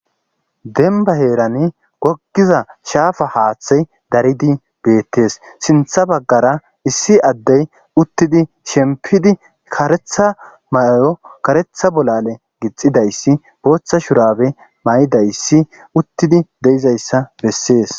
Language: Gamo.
denba heeran gogiza shaafa haaththey daridi beettees sintha baggara issi addey uttidi shempidi karetha mayo karetha bolale gixidayssi booththa shurabe ma'idayssi uttidi de'izayssa bessees